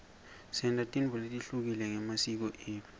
senta tintfo letehlukile ngemasiko etfu